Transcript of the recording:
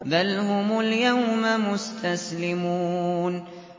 بَلْ هُمُ الْيَوْمَ مُسْتَسْلِمُونَ